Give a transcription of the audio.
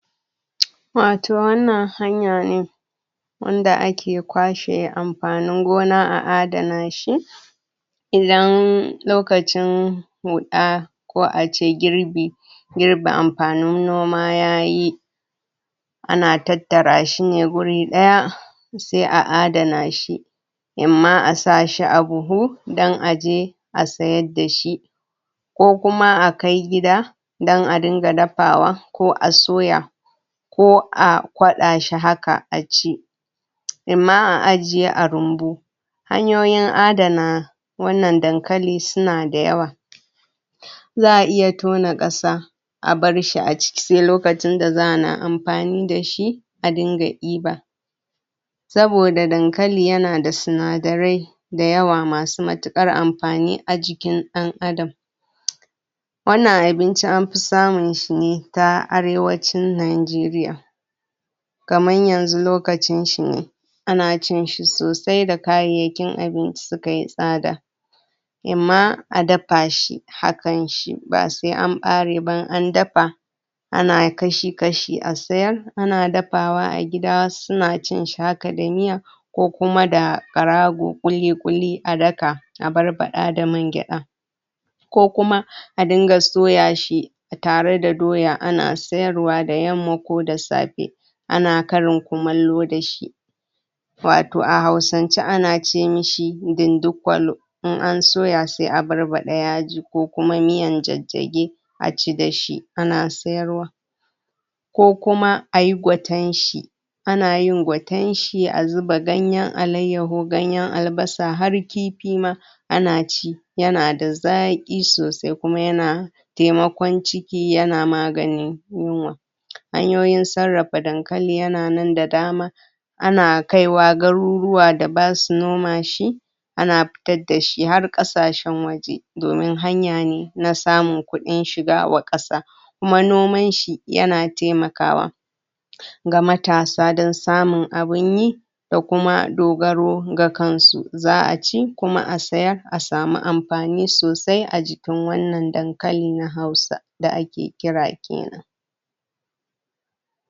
Barka da warhaka Wato ire iren waƙoƙi da nake wato so nake son in riƙa wato sauraron su da daddare ko Kuma ince da dare sune waƙoƙi na soyayya Kuma waƙoƙi na hausa kamar yadda wato nakeyi inadason wato sauraron wato waƙoƙi da dare waƙokin Kuma daya shafi waƙoƙine na hausa wanda waƙoƙine daya kunshi wato kalamai a ciki wato na soyayya wanda zai farantamun rai wanda zaisa inji dadi a raina nakanji dadi sosai ƙwarai da gaske Shiyasa sau dayawan lokutama koda a wayace ta salula ta hannu nakan wato ajiye irin waɗannan wakoki wanda nakanyi anfani Idan dare tayi Wani ko Wasu lokutan nakan kunna wato in sauraresu yadda wato sukan Sani nishadɗi sukan farantamin rai Wani lokacin zakuga cewa kodama inada Wani damuwa da yake damina ko Wani abu da ya sha min kai ko ya zamanmin duhu a kai wato bana kwanciya da haushi kokuma da baƙinciki kokuma da takaicin Wani abu daya faru dani na rayuwa nakan kunna wato wannan waƙa na soyayya yakan sa ni nishadi na hausa wanda nakanyi anfani da wannan waƙan Idan na kunna da dare yakan Sani a cikin farinciki yakan Sani nishaɗi yakan Kuma wato ainihin mantar dani damuwa ko Wani abu daya faru dani na rayuwa wanda banji daɗinsa ba nakan mance nakanji dadɗi a raina yakan nishadantar dani kwarai da gaske Shiyasa sau dayawan lokuta nakan kunna da dare musamman musamman kafin ma inzo barci nakan saka koda a naʼura mai ƙwaƙwalwa ne wanin nakan saka wato a talabijin in kalla wanin Kuma nakanyi anfani wato ainihin wayar hannu wayar salula kenan wayanda zansa wayannan waƙokin na wato hausa na wato hausa musamman mawaƙa na hausa kamar su wato hamisu breaker su Auta waziri da dai sauransu nakanyi anfani da wato waƙoƙin wayannan mutane manyan mawaƙa wanda mawaka ne na hausa wanda suke wakokine da ya shafi na soyayya nakan zauna in ji nakanji daɗi a raina yakan farantamin yakan nishaɗantar dani sannan yakan mantar dani Wasu abubuwan da suka kasance na damuwa a cikin rayuwata kwarai da gaske yakan taimakamin, nagode